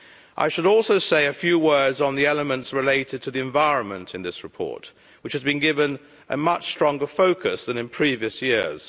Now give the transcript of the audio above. I should also say a few words on the elements related to the environment in this report, which has been given a much stronger focus than in previous years.